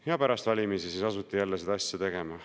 Aga pärast valimisi siis asuti jälle seda asja tegema.